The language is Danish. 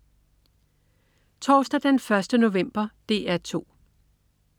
Torsdag den 1. november - DR 2: